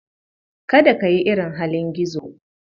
Kada ka yi irin halin gizo.